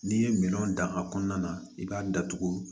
N'i ye minɛnw dan a kɔnɔna na i b'a datugu